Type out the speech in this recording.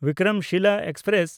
Vikramshila express